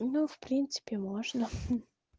ну в принципе можно